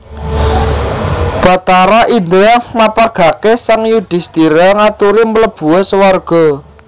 Bathara Indra mapagaké sang Yudhisthira ngaturi mlebua swarga